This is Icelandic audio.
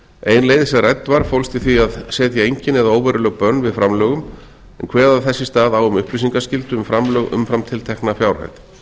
ein leið sem rædd var fólst í því að setja engin eða óveruleg bönn við framlögum og kveða þess í stað á um upplýsingaskyldu um framlög umfram tiltekna fjárhæð